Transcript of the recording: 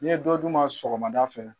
N'i ye dɔ d'u ma sɔgɔmada fɛ